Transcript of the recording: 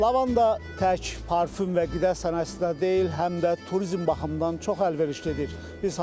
Lavanda tək parfum və qida sənayesində deyil, həm də turizm baxımından çox əlverişlidir.